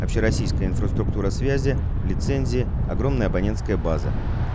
общероссийская инфраструктура связи лицензии огромная абонентская база